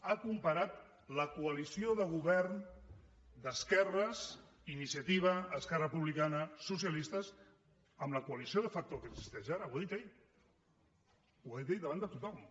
ha comparat la coalició de govern d’esquerres iniciativa esquerra republicana socialistes amb la coalició de factoell davant de tothom